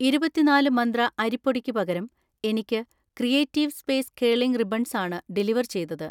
ഇരുപത്തിനാല് മന്ത്ര അരിപ്പൊടിക്ക് പകരം എനിക്ക് ക്രിയേറ്റീവ് സ്പേസ് കേളിംഗ് റിബൺസ് ആണ് ഡെലിവർ ചെയ്തത്